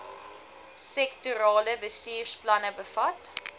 sektorale bestuursplanne bevat